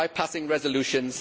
by passing resolutions.